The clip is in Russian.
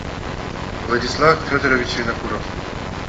владислав федорович винокуров